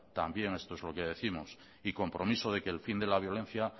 también esto es lo que décimos y compromiso de que el fin de la violencia